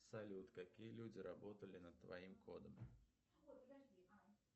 салют какие люди работали над твоим кодом